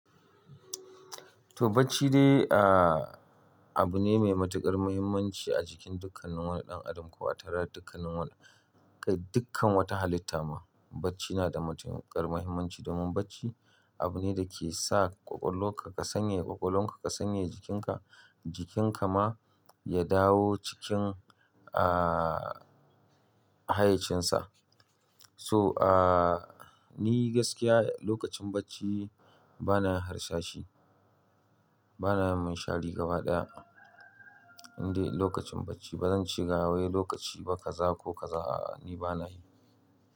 To bacci dai, ah, abu ne mai matuƙar muhimmanci a cikin dukannin wani ɗan adam ko wadannan dukannin wani. Kai dukkan wata halitta ma bacci yana da matuƙar muhimmanci domin bacci abu ne da ke sa ƙwaƙwalwonka ka sanye ƙwaƙwalonka ka sanye jikinka, jikinka ma ya dawo cikin, ah, hayyacinsa. So, ah, ni gaskiya lokacin bacci bana harsashi. Bana mi shari gaba ɗaya. Indai lokacin bacci bazan ci gawaye lokaci ba kaza ko kaza ni bana yi.